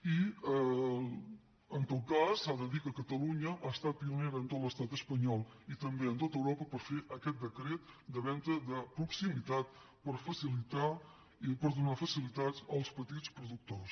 i en tot cas s’ha de dir que catalunya ha estat pionera en tot l’estat espanyol i també en tot europa per fer aquest decret de venda de proximitat per donar facilitats als petits productors